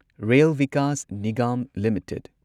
rail Vikas Nigam limited